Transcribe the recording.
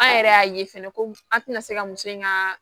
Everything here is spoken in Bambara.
An yɛrɛ y'a ye fɛnɛ ko an tɛna se ka muso in ka